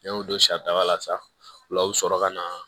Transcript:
N'i y'o don sa daga la sa o la o bɛ sɔrɔ ka na